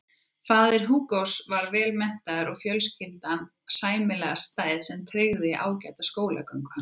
Faðir Hugos var vel menntaður og fjölskyldan sæmilega stæð sem tryggði ágæta skólagöngu hans.